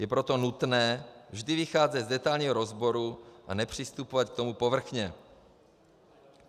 Je proto nutné vždy vycházet z detailního rozboru a nepřistupovat k tomu povrchně.